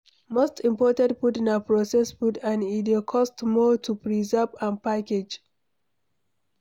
Most imported food na processed food and e dey cost more to preserve and package